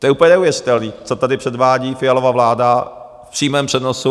To je úplně neuvěřitelné, co tady předvádí Fialova vláda v přímém přenosu.